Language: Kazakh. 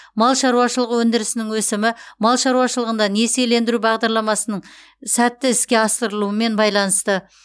мал шаруашылығы өндірісінің өсімі мал шаруашылығында несиелендіру бағдарламасының сәтті іске асырылуымен байланысты